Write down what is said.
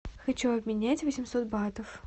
хочу обменять восемьсот батов